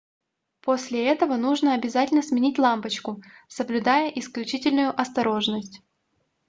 после этого нужно обязательно сменить лампочку соблюдая исключительную осторожность